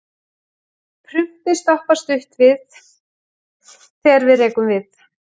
Prumpið stoppar stutt við, þegar við rekum við.